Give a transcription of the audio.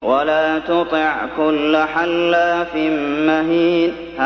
وَلَا تُطِعْ كُلَّ حَلَّافٍ مَّهِينٍ